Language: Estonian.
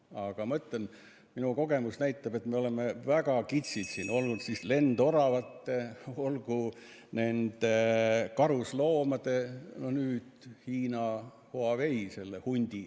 Aga ma ütlen, minu kogemus näitab, et me oleme väga kitsid olnud, olgu lendoravate või karusloomade puhul, nüüd Hiina Huawei, selle hundi ...